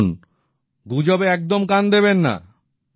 দেখুন গুজবে একদম কান দেবেন না